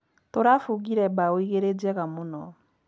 Tũrabungire mbaũ igĩrĩ njega mũno